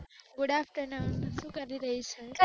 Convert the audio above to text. Good afternoon શું કરી રહી છે?